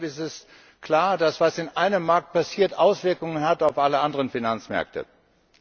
Und deshalb ist klar, dass das, was in einem Markt passiert, Auswirkungen auf alle anderen Finanzmärkte hat.